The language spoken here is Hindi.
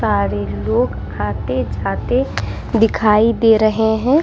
सारे लोग आते जाते दिखाई दे रहे हैं।